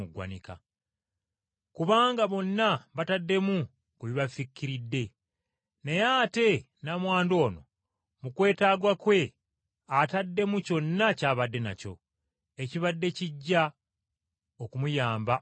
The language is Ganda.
Kubanga bonna bataddemu ku bibafikkiridde, naye ate nnamwandu ono mu kwetaaga kwe ataddemu kyonna ky’abadde nakyo, ekibadde kijja okumuyamba obulamu bwe bwonna.”